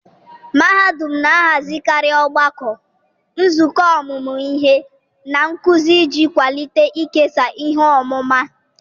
mahadum na-ahazikarị ogbako, nzukọ ọmụmụ ihe, na nkuzi iji kwalite ikesa ihe ọmụma.